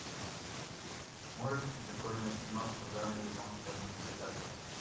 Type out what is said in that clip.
можешь включить прикольную киношку в жанре японская мультипликация